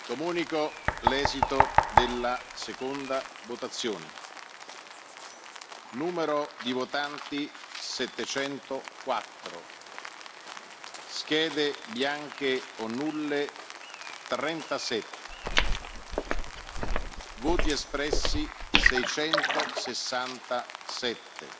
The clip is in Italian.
Comunico l'esito della seconda votazione. Numero di votanti 704 Schede bianche o nulle 37 Voti espressi 667